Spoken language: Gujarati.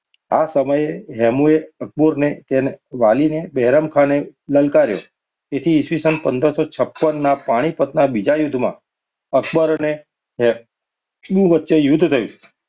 આ સમયે રમુએ અક્બરને અને તેના વાલીને બહેરામખાને લલકાર્યો, તેથી ઈ. સ. પંદરસો છપ્પનમાં પાણીપતના બીજા યુદ્ધમાં અક્બર અને હેમુ વચ્ચે યુદ્ધ થયું.